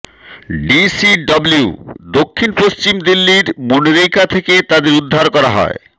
DCWU দক্ষিণ পশ্চিম দিল্লির মুনিরকা থেকে তাদের উদ্ধার করা হয়